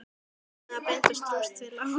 Ölmu að binda trúss við Lása.